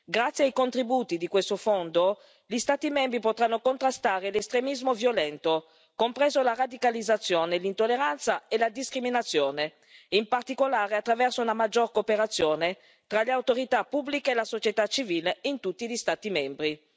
Grazie ai contributi di questo Fondo gli Stati membri potranno contrastare l'estremismo violento, compresa la radicalizzazione, l'intolleranza e la discriminazione, in particolare attraverso una maggiore cooperazione tra le autorità pubbliche e la società civile in tutti gli Stati membri.